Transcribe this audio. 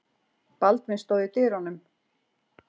Baldvin stóð í dyrunum.